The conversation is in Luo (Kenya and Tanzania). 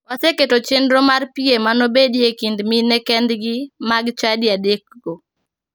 Waseketo chenro mar piem manobedie e kind mine kendgi mag chadi adekgo.